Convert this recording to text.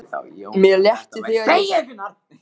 Mér létti þegar ég sá loks grilla í uppljómað húsið.